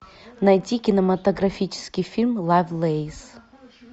найти кинематографический фильм лавлейс